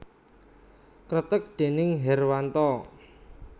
Kreteg déning Herwanto